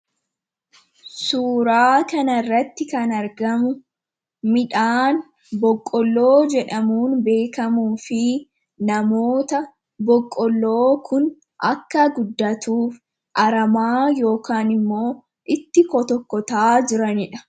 suuraa kanirratti kan argamu midhaan boqqolloo jedhamuun beekamuu fi namoota boqqolloo kun akka guddatuuf aramaa ykn immoo itti ko tokkotaa jiraniidha